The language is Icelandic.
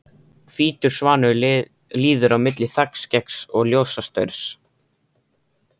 Hvítur svanur líður á milli þakskeggs og ljósastaurs.